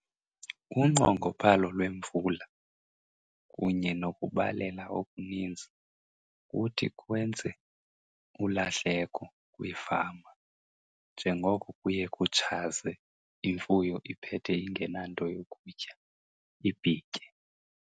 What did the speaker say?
Unqongophalo lwemvula kunye nokubalela okuninzi kuthi kwenze ulahleko kwiifama njengoko kuye kutshaze, imfuyo iphethe ingenanto yokutya ibhitye.